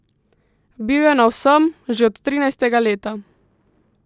Bil je na vsem, že od trinajstega leta.